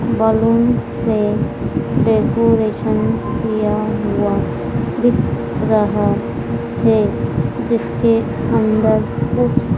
balloon से decoration किया हुआ दिख रहा है जिसके अंदर कुछ--